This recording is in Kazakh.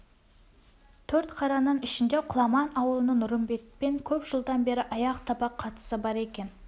төртқараның ішінде құламан ауылының нұрымбетпен көп жылдан бері аяқ-табақ қатысы бар екен